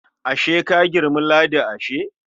Ashe ka girmi Ladi ashe?